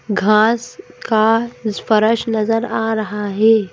घास का स्पर्श नजर आ रहा है।